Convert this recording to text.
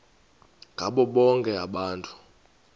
ngabo bonke abantu